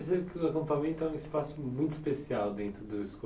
Percebo que o acampamento é um espaço muito especial dentro do